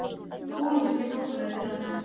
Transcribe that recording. Kólumbískir flóttamenn til landsins